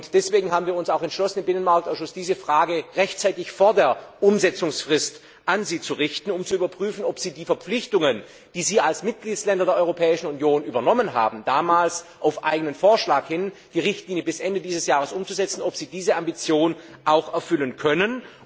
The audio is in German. Deswegen haben wir uns auch entschlossen, im Binnenmarktausschuss diese Frage rechtzeitig vor der Umsetzungsfrist an Sie zu richten, um zu überprüfen, ob Sie die Verpflichtungen, die Sie als Mitgliedsstaaten der Europäischen Union übernommen haben, damals auf eigenen Vorschlag hin, die Richtlinie bis Ende dieses Jahres umzusetzen, ob Sie diese Ambition auch erfüllen können.